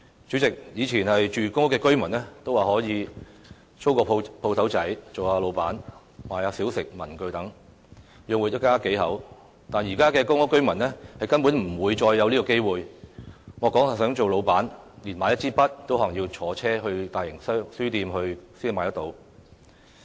主席，以前住公屋的居民尚可以租間小商店做做老闆，售賣小食、文具等，養活一家數口；但現時的公屋居民已不再有這機會，莫說是做老闆，就連買一支筆也要乘車到大型書店才買得到。